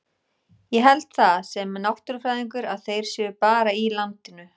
Ég held það, sem náttúrufræðingur, að þeir séu bara í landinu.